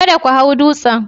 Kada ku hau dutsen.